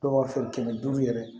Dɔw b'a fɛ kɛmɛ duuru yɛrɛ